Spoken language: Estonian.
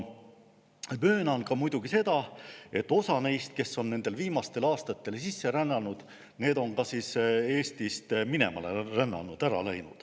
Möönan muidugi ka seda, et osa neist, kes on viimastel aastatel sisse rännanud, on ka Eestist minema rännanud, ära läinud.